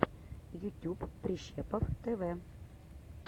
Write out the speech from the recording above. ютюб прищепов тв